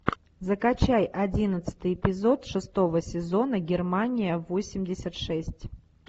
закачай одиннадцатый эпизод шестого сезона германия восемьдесят шесть